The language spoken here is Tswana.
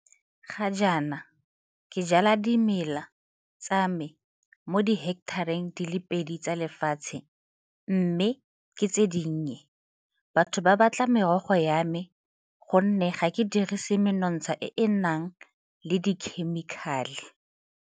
Ga jaana ke jala dimela tsa me mo diheketareng di le pedi tsa lefatshe mme ke tse dinnye. Batho ba batla merogo ya me gonne ga ke dirise menontsha e e nang le dikhemikhale.